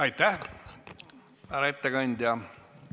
Aitäh, härra ettekandja!